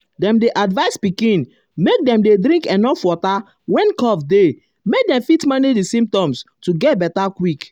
dem dey advise pikin make dem um dey drink enuf water when cough dey make dem fit manage di symptoms to get beta quick.